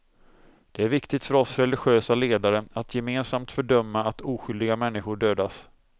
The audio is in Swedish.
Det är viktigt för oss religiösa ledare att gemensamt fördöma att oskyldiga människor dödas.